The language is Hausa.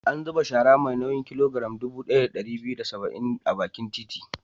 An zuba shara mai nauyin kilogiram dubu ɗaya da ɗari biyu da saba'in a bakin titi.